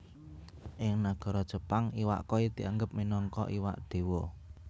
Ing nagara Jepang iwak koi dianggep minangka iwak Déwa